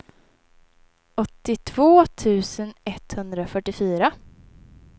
åttiotvå tusen etthundrafyrtiofyra